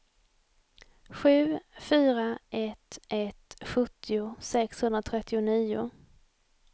sju fyra ett ett sjuttio sexhundratrettionio